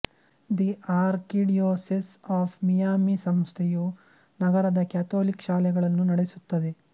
the archdiocese of Miami ಸಂಸ್ಥೆಯು ನಗರದ Catholic ಶಾಲೆಗಳನ್ನು ನಡೆಸುತ್ತದೆ